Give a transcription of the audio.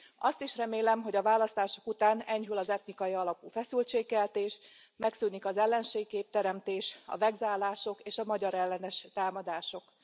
Azt is remélem, hogy a választások után enyhül az etnikai alapú feszültségkeltés, megszűnik az ellenségkép teremtés, a vegzálások és a magyarellenes támadások.